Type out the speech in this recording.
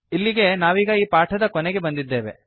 ಇಲ್ಲಿಗೆ ನಾವೀಗ ಈ ಪಾಠದ ಕೊನೆಗೆ ಬಂದಿದ್ದೇವೆ